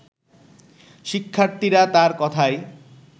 শিক্ষার্থীরা তার কথায়